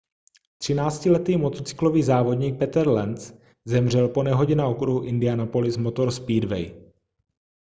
třináctiletý motocyklový závodník peter lenz zemřel po nehodě na okruhu indianapolis motor speedway